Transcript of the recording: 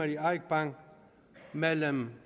i eik bank mellem